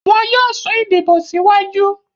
wọn yóò sún ìdìbò síwájú.